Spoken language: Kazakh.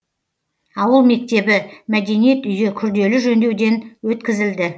ауыл мектебі мәдениет үйі күрделі жөндеуден өткізілді